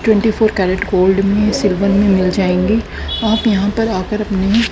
twenty four carat gold में silver में मिल जाएंगे आप यहां पर आ कर अपने--